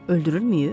Öldürülməyib?